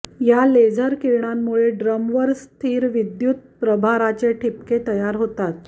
या लेझर किरणांमुळे ड्रमवर स्थिर विद्युत प्रभाराचे ठिपके तयार होतात